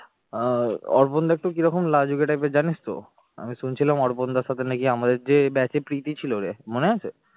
আহ অর্পণ দা একটু কিরকম লাজুকে type এর জানিস তো? আমি শুনছিলাম অর্পণদার সাথে নাকি আমাদের যে batch এ প্রীতি ছিল রে মনে আছে?